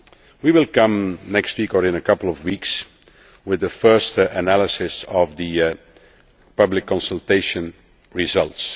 lines. We will come next week, or in a couple of weeks, with the first analysis of the public consultation